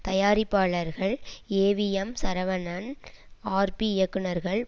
தயாரிப்பாளர்கள் AVM Saravanan RP இயக்குனர்கள்